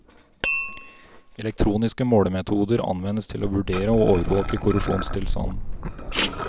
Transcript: Elektroniske målemetoder anvendes til å vurdere og overvåke korrosjonstilstanden.